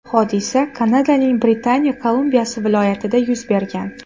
Hodisa Kanadaning Britaniya Kolumbiyasi viloyatida yuz bergan.